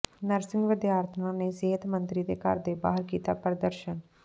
nursing ਵਿਦਿਆਰਥਣਾਂ ਨੇ ਸਿਹਤ ਮੰਤਰੀ ਦੇ ਘਰ ਦੇ ਬਾਹਰ ਕੀਤਾ ਪ੍ਰਦਰਸ਼ਨ